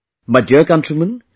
My dear countrymen,